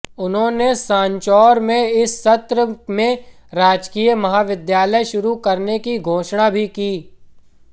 उन्होंने सांचौर में इसी सत्र में राजकीय महाविद्यालय शुरू करने की घोषणा भी की